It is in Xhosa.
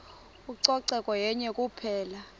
ucoceko yenye kuphela